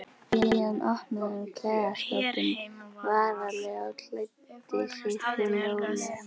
Síðan opnaði hann klæðaskápinn varlega og klæddi sig hljóðlega.